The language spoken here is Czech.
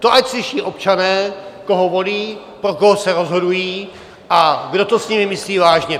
To ať slyší občané, koho volí, pro koho se rozhodují a kdo to s nimi myslí vážně.